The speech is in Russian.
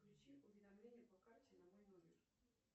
включи уведомления по карте на мой номер